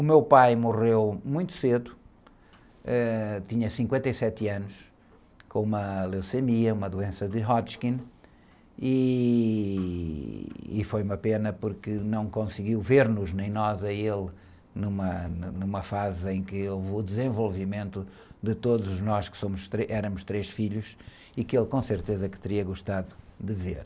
O meu pai morreu muito cedo, ãh, tinha cinquenta e sete anos, com uma leucemia, uma doença de Hodgkin, e... E foi uma pena porque não conseguiu ver-nos, nem nós, a ele numa, numa fase em que houve o desenvolvimento de todos nós que somos, éramos três filhos e que ele com certeza que teria gostado de ver.